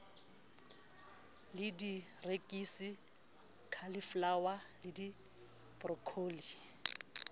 le dierekisi cauliflower le broccoli